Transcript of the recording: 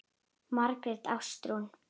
Margrét Ástrún.